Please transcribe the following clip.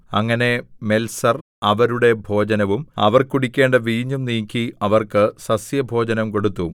അങ്ങനെ മെൽസർ അവരുടെ ഭോജനവും അവർ കുടിക്കേണ്ട വീഞ്ഞും നീക്കി അവർക്ക് സസ്യഭോജനം കൊടുത്തു